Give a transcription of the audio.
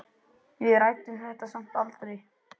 Við ræddum það samt aldrei.